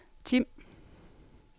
Tim